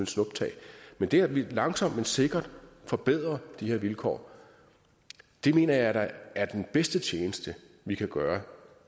snuptag men det at vi langsomt men sikkert forbedrer de her vilkår mener jeg da er den bedste tjeneste vi kan gøre